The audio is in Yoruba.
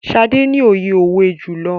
Sade ní oye òwe julọ.